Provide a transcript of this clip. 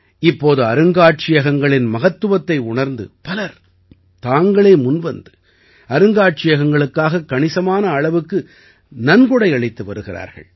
இப்போது அருங்காட்சியகங்களின் மகத்துவத்தை உணர்ந்து பலர் தாங்களே முன்வந்து அருங்காட்சியகங்களுக்காகக் கணிசமான அளவு நன்கொடை அளித்து வருகிறார்கள்